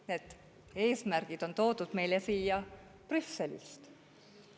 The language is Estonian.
Ei, need eesmärgid on toodud meile siia Brüsselist.